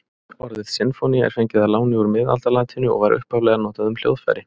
Orðið sinfónía er fengið að láni úr miðaldalatínu og var upphaflega notað um hljóðfæri.